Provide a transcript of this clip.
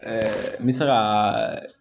n bɛ se ka